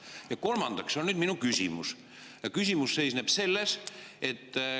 Ja kolmandaks on minu küsimus.